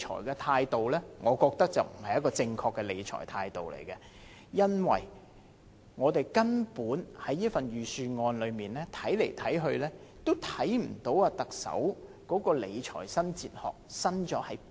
然而，我覺得這種理財態度並不正確，因為在這份預算案裏面，看來看去也看不到特首的理財新哲學究竟"新"在哪裏？